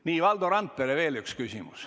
Nii, Valdo Randperel on veel üks küsimus.